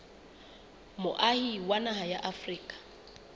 moahi wa naha ya afrika